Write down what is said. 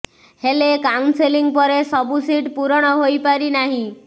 ହେଲେ କାଉନ୍ସେଲିଂ ପରେ ସବୁ ସିଟ୍ ପୂରଣ ହୋଇପାରି ନାହିଁ